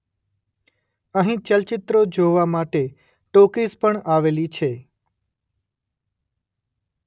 અંહી ચલયિત્રો જોવા માટે ટોકિઝ પણ આવેલી છે.